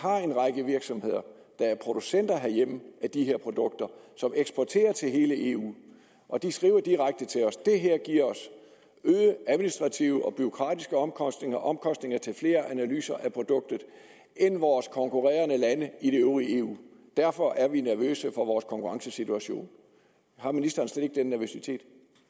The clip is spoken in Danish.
har en række virksomheder der er producenter herhjemme af de her produkter som eksporterer til hele eu og de skriver direkte til os det her giver os øgede administrative og bureaukratiske omkostninger omkostninger til flere analyser af produktet end vores konkurrerende lande i det øvrige eu derfor er vi nervøse for vores konkurrencesituation har ministeren slet ikke den nervøsitet